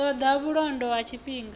ṱo ḓa vhulondo ha tshifhinga